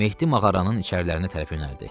Mehdi mağaranın içərilərinə tərəf yönəldi.